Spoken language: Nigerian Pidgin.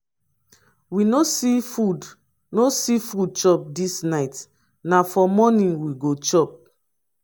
we no see food no see food chop dis night na for morning we go chop.